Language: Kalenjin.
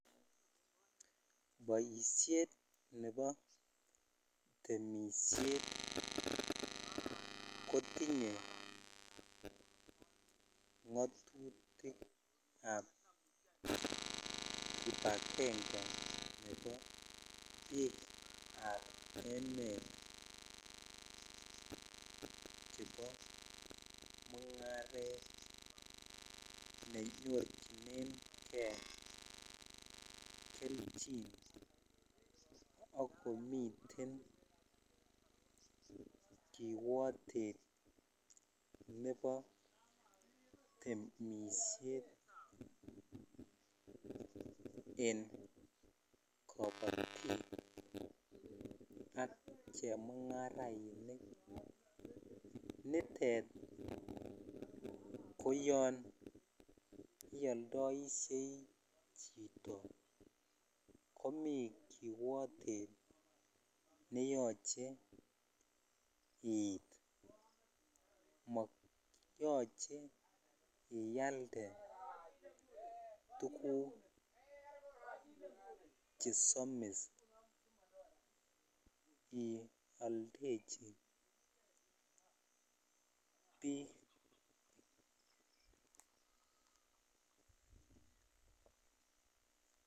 Boishet nebo temishet kotinye ngotutikab kibagenge en biikab emet chebo mungaret chekinyorchinenkei kelchin akomiten kiwotet nebo temishet en kobotik ak chemungarainik nitet koyon iyoldoishei chito komii kiiwotet neyoche iit monoche iyalde tuguk chesomis ioldechi biik.